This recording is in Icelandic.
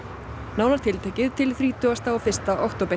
nánar tiltekið til þrítugasta og fyrsta október